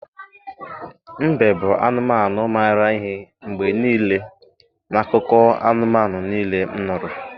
mbe bụ anụmanụ maara ihe mgbe niile n’akụkọ anụmanụ niile m nụrụ.